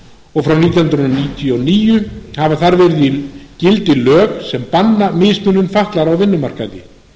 og frá nítján hundruð níutíu og níu hafa þar verið í gildi lög sem banna mismunun fatlaðra á vinnumarkaði